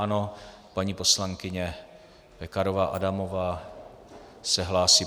Ano, paní poslankyně Pekarová Adamová se hlásí.